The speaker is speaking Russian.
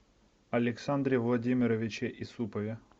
александре владимировиче исупове